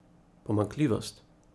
Pomanjkljivost?